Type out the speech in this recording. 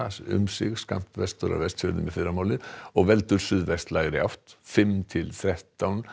um sig skammt vestur af Vestfjörðum í fyrramálið og veldur átt fimm til þrettán